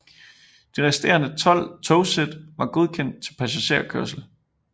De resterende 12 togsæt var godkendt til passagerkørsel